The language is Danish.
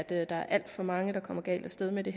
at der er alt for mange der kommer galt af sted med det